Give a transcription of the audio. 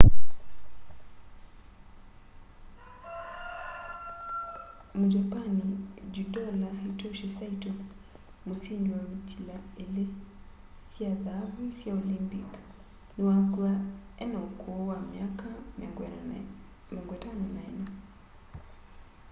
mujapani judola hitoshi saito musindi wa mitila ili sya thaavu sya olimpic niwakw'a ena ukuu wa miaka 54